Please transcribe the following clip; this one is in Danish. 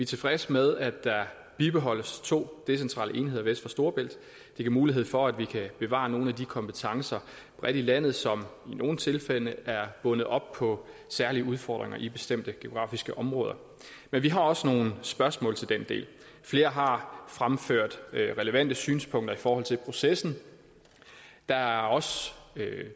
tilfredse med at der bibeholdes to decentrale enheder vest for storebælt det giver mulighed for at vi kan bevare nogle af de kompetencer bredt i landet som i nogle tilfælde er bundet op på særlige udfordringer i bestemte geografiske områder men vi har også nogle spørgsmål til den del flere har fremført relevante synspunkter i forhold til processen der er også